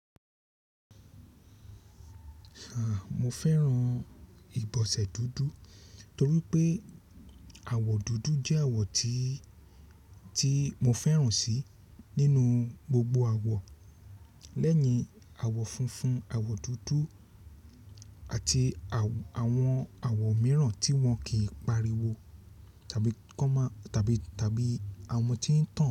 Ahn, mo fẹ́ràn ìbọsẹ̀ dúdú torí pé àwọ̀ dúdú jẹ́ àwọ̀ tí, tí mo fẹ́ràn sí nínú gbogbo àwọ̀. Lẹ́yìn àwọ̀ funfun, àwọ̀ dúdú àti àwọn àwọ̀ míràn tí wọ́n kì pariwo tàbí common tàbí, tàbí àwọn tí.